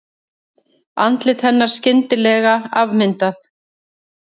Andlit hennar skyndilega afmyndað.